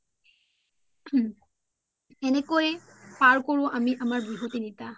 উম সেনেকই আমি পাৰ কৰু আমাৰ বিহু তিনিতা